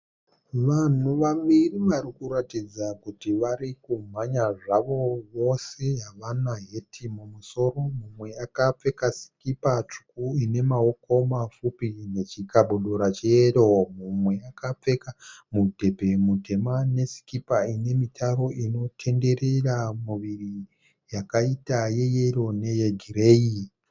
vanhu vari kuratidza kuti vari kumhanya zvavo. Vose havana heti mumusoro, mumwe akapfeka sikipai tsvuku ine maoko mapfupi nechikabudura cheyero . Mumwe akapfeka mudhembe mutema nesikipa ine mitaro inotenderera muviri yakaita yeyero neye gireyi